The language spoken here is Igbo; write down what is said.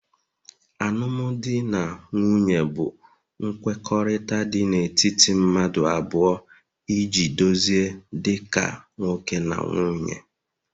alụmdi na nwunye bụ nkwekọrịta dị n'etiti mmadụ abụọ iji dozie dị ka nwoke na nwunye